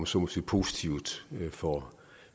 så må sige positivt får